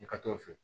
I ka t'o fɛ